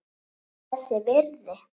Var þess virði!